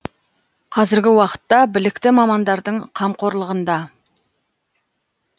қазіргі уақытта білікті мамандардың қамқорлығында